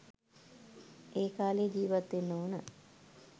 ඒ කාලේ ජීවත් වෙන්න ඕන.